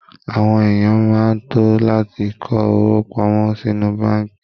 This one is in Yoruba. Àwọn èèyàn máa ń to láti kó owó pamọ́ sinú báànkì